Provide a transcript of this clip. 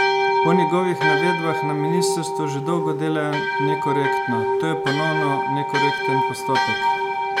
Po njegovih navedbah na ministrstvu že dolgo delajo nekorektno: "To je ponovno nekorekten postopek.